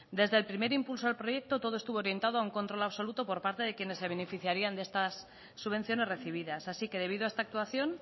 desde el primer impulso al proyecto todo estuvo orientado a un control absoluto por parte de quienes se beneficiarían de estas subvenciones recibidas así que debido a esta actuación